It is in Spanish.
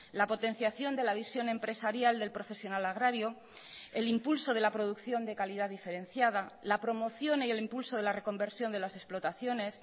la potenciación de la visión empresarial del profesional agrario el impulso de la producción de calidad diferenciada la promoción y el impulso de la reconversión de las explotaciones